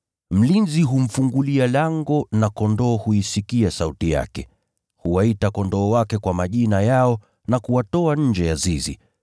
Mlinzi humfungulia lango na kondoo huisikia sauti yake. Huwaita kondoo wake kwa majina yao na kuwatoa nje ya zizi.